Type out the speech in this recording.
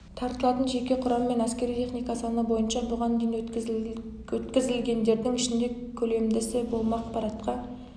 тартылатын жеке құрам мен әскери техника саны бойынша бұған дейін өткізілгендердің ішінде көлемдісі болмақ парадқа